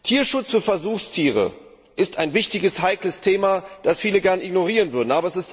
Tierschutz für Versuchstiere ist ein wichtiges, heikles Thema, das viele gern ignorieren würden.